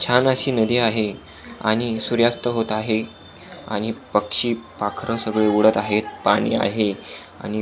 छान अशी नदी आहे आणि सूर्यास्त होत आहे आणि पक्षी पाखर सगळे उडत आहेत पाणी आहे आणि--